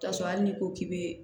K'a sɔrɔ hali n'i ko k'i be